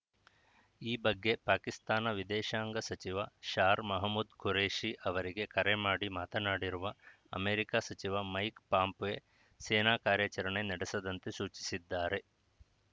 ಈ ಬಗ್ಗೆ ಪಾಕಿಸ್ತಾನ ವಿದೇಶಾಂಗ ಸಚಿವ ಶಾರ್‌ ಮೊಹಮ್ಮೂದ್‌ ಖುರೇಷಿ ಅವರಿಗೆ ಕರೆ ಮಾಡಿ ಮಾತನಾಡಿರುವ ಅಮೆರಿಕ ಸಚಿವ ಮೈಕ್‌ ಪಾಂಪ್ವೆ ಸೇನಾ ಕಾರ್ಯಾಚರಣೆ ನಡೆಸದಂತೆ ಸೂಚಿಸಿದ್ದಾರೆ